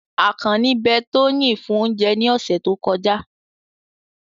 Akanni be Toyin fun ounje ni ose to koja